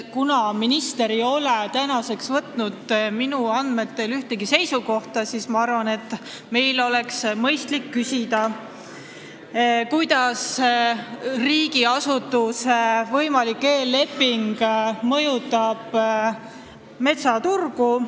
Kuna minister ei ole minu andmetel võtnud seisukohta, siis ma arvan, et meil oleks mõistlik küsida, kuidas mõjutab riigiasutuse võimalik eelleping metsaturgu.